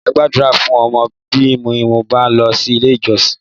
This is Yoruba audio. Máa Gbàdúrà fún ọmọ mi bí mo bá lọ ilé ìjọsìn